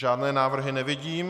Žádné návrhy nevidím.